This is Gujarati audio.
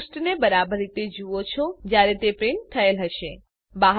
તમે પૃષ્ઠ ને બરાબર એ રીતે જુઓ છો જ્યારે તે પ્રિન્ટ થયેલ હશે